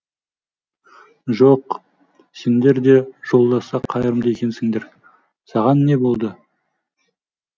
жоқ сендер де жолдасқа қайырымды екенсіңдер саған не болды